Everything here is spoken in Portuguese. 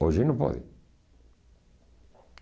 Hoje não pode.